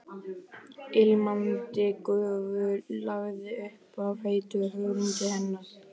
Ilmandi gufu lagði upp af heitu hörundi hennar.